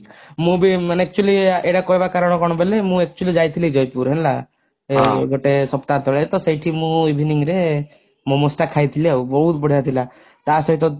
ମୁଁ ବି ମାନେ actually ଏଇଟା କହିବା କାରଣ କଣ ବେଲେ ମୁଁ actually ଯାଇଥିଲି ଜୟପୁର ହେଲା ଗୋଟେ ସପ୍ତାହ ତଳେ ତ ସେଇଠି ମୁଁ evening ରେ momos ଟା ଖାଇଥିଲି ଆଉ ବହୁତ ବଢିଆ ଥିଲା ତା ସହିତ